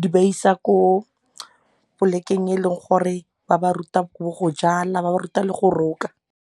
di ba isa ko polekeng e leng gore ba ba ruta bo go jala ba ba ruta le go roka.